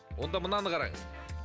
онда мынаны қараңыз